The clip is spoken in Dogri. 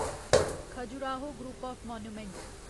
Khajuraho group of monuments